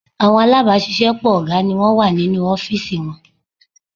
Àwọn alábàáṣiṣẹ́pọ̀ ọ̀gá ni wọ́n wà nínú ọ́fìsì wọn